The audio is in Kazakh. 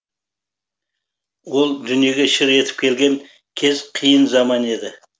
ол дүниеге шыр етіп келген кез қиын заман еді